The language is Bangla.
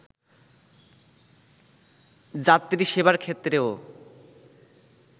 যাত্রী সেবার ক্ষেত্রেও